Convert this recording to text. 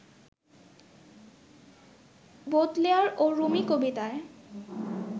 Baudelaire ও Rumi কবিতায়